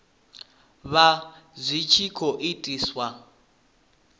vha zwi tshi khou itiswa